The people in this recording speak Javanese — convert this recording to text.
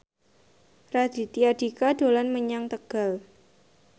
Raditya Dika dolan menyang Tegal